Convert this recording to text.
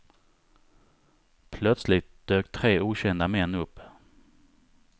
Plötsligt dök tre okända män upp.